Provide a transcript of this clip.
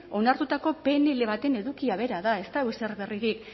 onartutako pnl baten edukia bera da ez dago ezer berririk